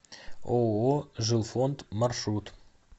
ооо жилфонд маршрут